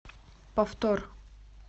повтор